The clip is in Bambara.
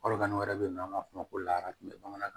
Balokani wɛrɛ be yen n'an b'a f'o ma bamanankan